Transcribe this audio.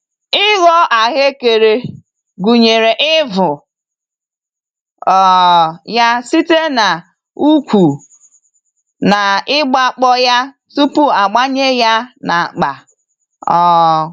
Ịghọ ahuekere gụnyere ivụ um ya site n'ukwu na igba kpọ ya tupu agbanye ya n'akpa. um